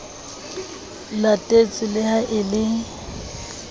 latetswe le ha e le